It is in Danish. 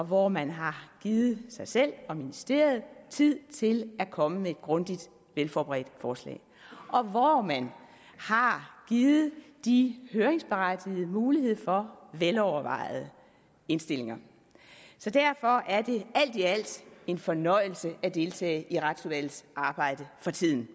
hvor man har givet sig selv og ministeriet tid til at komme med et grundigt velforberedt forslag og hvor man har givet de høringsberettigede mulighed for at velovervejede indstillinger så derfor er det alt i alt en fornøjelse at deltage i retsudvalgets arbejde for tiden